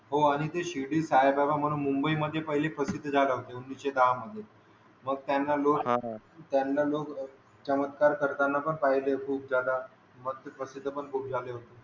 हो आणि ते शिर्डी साई बाबा म्हणून मुंबईमध्ये पहिले प्रसिद्ध झाले होते उणिसे दहा मध्ये मग त्यांना लोक चमत्कार करताना पण पहिले होते खूप जादा मस्त प्रसिद्ध पण खूप झाले होते.